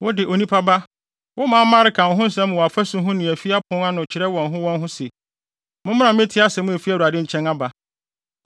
“Wo de, onipa ba, wo manmma reka wo ho nsɛm wɔ afasu ho ne afi apon ano kyerɛ wɔn ho wɔn ho se, ‘Mommra mmetie asɛm a efi Awurade nkyɛn aba.’